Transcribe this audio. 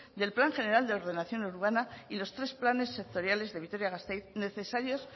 del plan general de ordenación urbana y los tres planes sectoriales de vitoria gasteiz necesarios